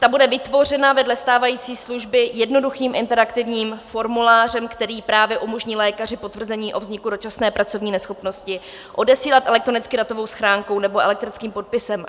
Ta bude vytvořena vedle stávající služby jednoduchým interaktivním formulářem, který právě umožní lékaři potvrzení o vzniku dočasné pracovní neschopnosti odesílat elektronicky datovou schránkou nebo elektronickým podpisem.